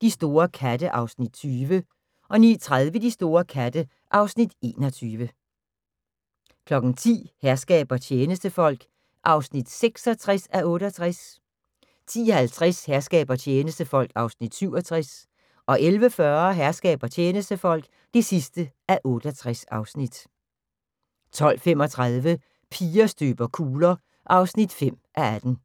De store katte (Afs. 20) 09:30: De store katte (Afs. 21) 10:00: Herskab og tjenestefolk (66:68) 10:50: Herskab og tjenestefolk (67:68) 11:40: Herskab og tjenestefolk (68:68) 12:35: Piger støber kugler (5:18)